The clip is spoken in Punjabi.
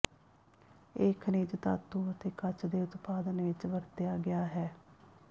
ਇਹ ਖਣਿਜ ਧਾਤੂ ਅਤੇ ਕੱਚ ਦੇ ਉਤਪਾਦਨ ਵਿੱਚ ਵਰਤਿਆ ਗਿਆ ਹੈ